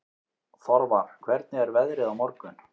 Þorvar, hvernig er veðrið á morgun?